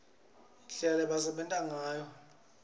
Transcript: indlela lebebasebenta ngayo kadzeni